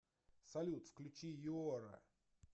салют включи юора